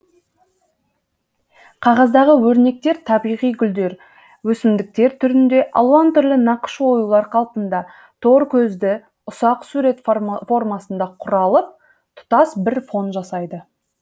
қағаздағы өрнектер табиғи гүлдер өсімдіктер түрінде алуан түрлі нақыш оюлар қалпында торкөзді ұсақ сурет формасында құралып тұтас бір фон жасайды